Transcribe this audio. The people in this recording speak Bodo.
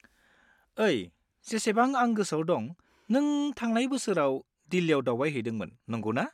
ओइ, जेसेबां आं गोसोआव दं नों थांनाय बोसोराव दिल्लीयाव दावबायहैदोंमोन, नंगौना?